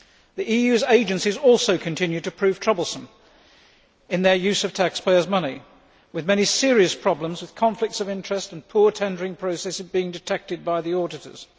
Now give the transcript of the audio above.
The EU's agencies also continue to prove troublesome in their use of taxpayers' money, with many serious problems with conflicts of interest and poor tendering processes being detected by the auditors.